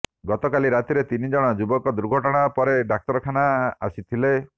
ଗତକାଲି ରାତିରେ ତିନି ଜଣ ଯୁବକ ଦୁର୍ଘଟଣା ପରେ ଡାକ୍ତରଖାନା ଆସିଥିଲେ